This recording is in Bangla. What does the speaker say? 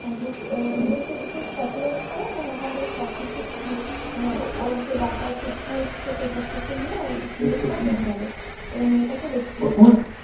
হা এবং সে ভীষণ Sacrifice করে এবং ওখান থেকে সব কিছু মানে ওর যে ডাকাতির Tools থেকে সেসব কিছু নিয়ে সিন্ধুক তা ভেঙে ফেলে